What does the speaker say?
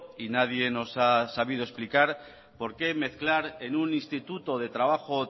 y nadie nos ha sabido explicar por qué mezclar en un instituto de trabajo